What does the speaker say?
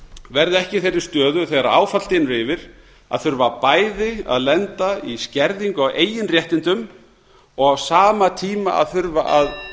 verði ekki í þeirri stöðu þegar áfall dynur yfir að þurfa bæði að lenda í skerðingu á eigin réttindum og á sama tíma að þurfa að